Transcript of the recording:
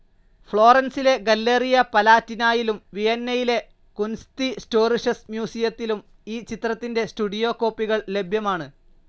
ഫ്ലോറൻസിലെ Galleria പലാറ്റിനായിലും വിയന്നയിലെ കുൻസ്തിസ്റ്റോറിഷസ് മ്യൂസിയത്തിലും ഈ ചിത്രത്തിൻ്റെ സ്റ്റുഡിയോ കോപ്പികൾ ലഭ്യമാണ്.